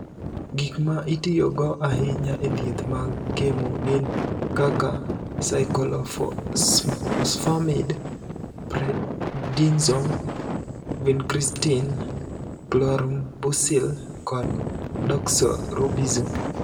"Gik ma itiyogo ahinya e thieth mag kemo gin kaka saikolofosfamid, prednison, vinkristin, klorambusil kod doksorubisin."